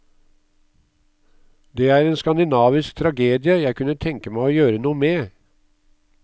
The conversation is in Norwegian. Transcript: Det er en skandinavisk tragedie jeg kunne tenke meg å gjøre noe med.